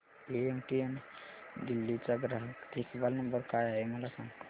MTNL Delhi चा ग्राहक देखभाल नंबर काय आहे मला सांग